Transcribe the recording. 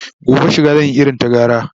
gobe shiga zan Yi irin ta gara